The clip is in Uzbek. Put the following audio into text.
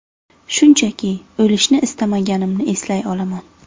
Shunchaki, o‘lishni istamaganimni eslay olaman.